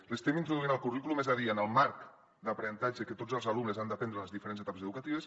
l’estem introduint al currículum és a dir en el marc d’aprenentatge que tots els alumnes han d’aprendre en les diferents etapes educatives